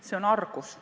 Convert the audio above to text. See on argus.